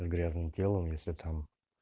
и грязны телом если там